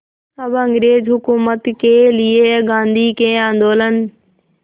अब अंग्रेज़ हुकूमत के लिए गांधी के आंदोलन